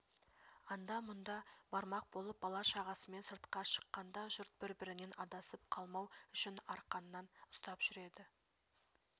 анда-мұнда бармақ болып бала-шағасымен сыртқа шыққанда жұрт бір-бірінен адасып қалмау үшін арқаннан ұстап жүреді